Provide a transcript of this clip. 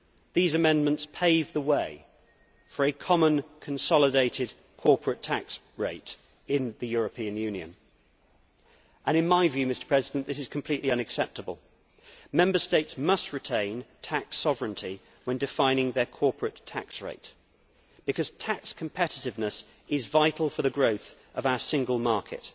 These amendments pave the way for a common consolidated corporate tax rate in the European Union, and in my view this is completely unacceptable. Member States must retain tax sovereignty when defining their corporate tax rate, because tax competitiveness is vital for the growth of our single market.